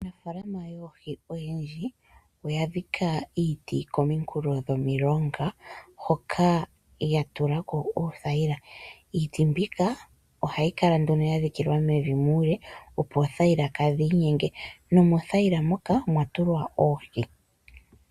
Aanafaalama yoohi oyendji, oya dhika iiti kominkulo dhomilonga ,hoka ya tula ko oothayila. Iiti mbika oha yi kala nduno ya dhikilwa mevi muule, opo oothayila ka dhi inyenge nomothayila muka omwa tulwa oohi.